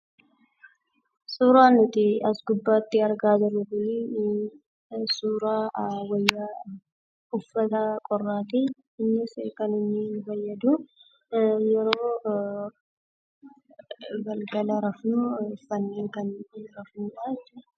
Suuraa nuti as gubbaatti argaa jirru kun suuraa wayyaa uffata qorraa ti. Innis kan inni nu fayyadu, yeroo galgala rafnu uffannee kan rafnuudha jechuu dha .